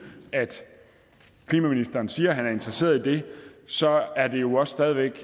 at klimaministeren siger han er interesseret i det så er det jo også stadig væk